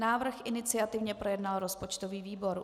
Návrh iniciativně projednal rozpočtový výbor.